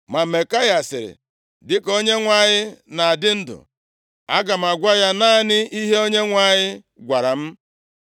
Ma Maikaya sịrị, “Dịka Onyenwe anyị na-adị ndụ, aga m agwa ya naanị ihe Onyenwe anyị gwara m.” + 22:14 \+xt Ọnụ 22:38; 24:13\+xt*